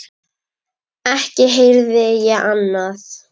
Ekki heyrði ég annað.